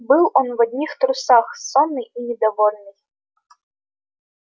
был он в одних трусах сонный и недовольный